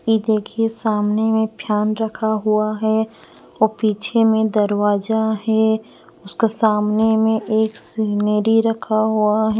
ये देखिए सामने में फियान रखा हुआ है और पीछे में दरवाजा है उसका सामने में एक सेमेरी रखा हुआ है।